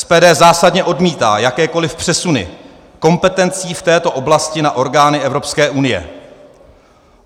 SPD zásadně odmítá jakékoliv přesuny kompetencí v této oblasti na orgány Evropské unie.